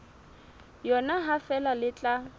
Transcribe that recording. yona ha feela le tla